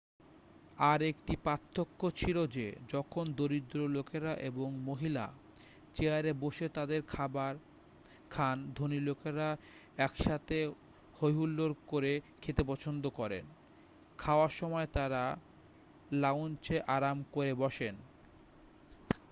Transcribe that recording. আর একটি পার্থক্য ছিল যে যখন দরিদ্র লোকেরা এবং মহিলা চেয়ারে বসে তাদের খাবার খান ধনী লোকেরা একসাথে হই হুল্লোড় করে খেতে পছন্দ করেন খাওয়ার সময় তারা লাউঞ্জে আরাম করে বসেন